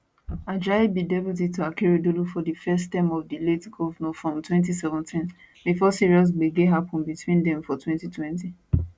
ajayi be deputy to akeredolu for di first term of di late govnor from 2017 bifor serious gbege happun between dem for 2020